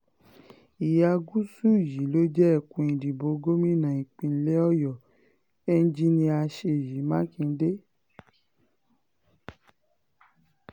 ìhà gúúsù yìí ló jẹ́ ẹkùn ìdìbò gómìnà ìpínlẹ̀ ọyọ̀ enjinnia ṣèyí mákindé